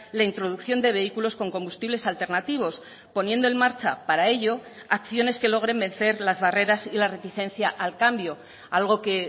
la introducción de vehículos con combustibles alternativos poniendo en marcha para ello acciones que logren vencer las barreras y la reticencia al cambio algo que